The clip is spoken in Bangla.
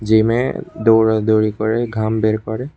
জিমে দৌড়াদৌড়ি করে ঘাম বের করে।